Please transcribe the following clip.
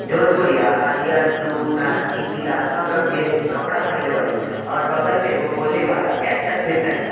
John गुड़िया हरियर blue नारंगी पीला सब रंग के कपड़ा पहेनले बाड़ी और बगल में बोलने वाला कैक्टस भी धइले बा।